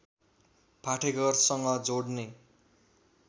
पाठेघरसँग जोड्ने